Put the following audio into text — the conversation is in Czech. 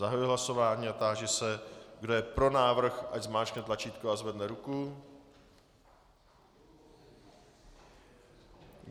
Zahajuji hlasování a táži se, kdo je pro návrh, ať zmáčkne tlačítko a zvedne ruku.